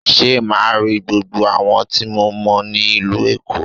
Ṣé màá rí gbogbo àwọn tí mo mọ̀ ní ìlú Èkó?